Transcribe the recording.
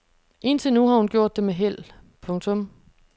Indtil nu har hun gjort det med held. punktum